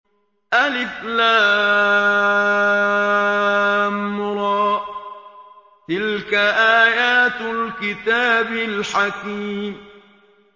الر ۚ تِلْكَ آيَاتُ الْكِتَابِ الْحَكِيمِ